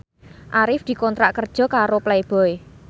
Arif dikontrak kerja karo Playboy